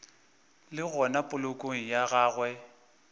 le gona polokong ya gagwe